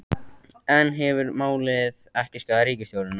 En hefur málið ekki skaðað ríkisstjórnina?